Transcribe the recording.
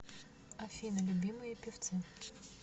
афина любимые певцы